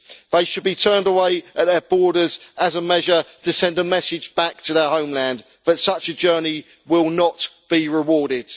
They should be turned away at the borders as a measure to send a message back to their homeland that such a journey will not be rewarded.